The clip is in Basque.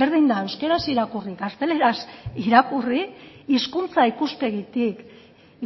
berdin da euskaraz irakurri gazteleraz irakurri hizkuntza ikuspegitik